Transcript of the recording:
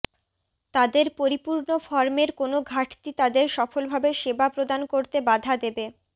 তাদের পরিপূর্ণ ফর্মের কোনও ঘাটতি তাদের সফলভাবে সেবা প্রদান করতে বাধা দেবে